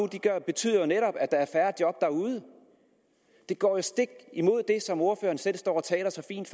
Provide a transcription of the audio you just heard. betyder netop at der er færre job derude det går jo stik imod det som ordføreren selv står og taler så fint